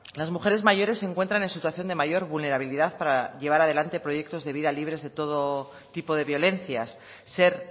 las mujeres mayores se encuentran en situación de mayor vulnerabilidad para llevar adelante proyectos de vida libres de todo tipo de violencias ser